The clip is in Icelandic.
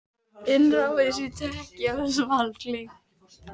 Innrásin í Tékkóslóvakíu gleymd?